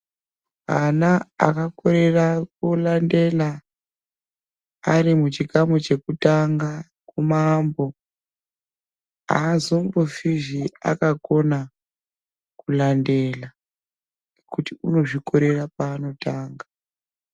Ana akakorera kulandela arimuchikamu chekutanga kumaambo azombofihe akakona kulandela kuti unozvikorera paanotanga.